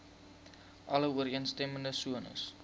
alle ooreenstemmende sones